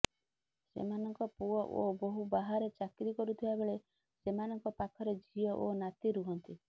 ସେମାନଙ୍କ ପୁଅ ଓ ବୋହୂ ବାହାରେ ଚାକିରି କରୁଥିବା ବେଳେ ସେମାନଙ୍କ ପାଖରେ ଝିଅ ଓ ନାତି ରୁହନ୍ତି